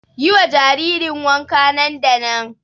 Yi wa jaririn wanka nan da nan!